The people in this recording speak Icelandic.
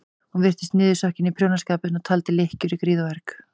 Hún virtist niðursokkin í prjónaskapinn og taldi lykkjur í gríð og erg.